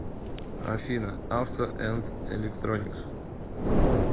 афина авто энд электроникс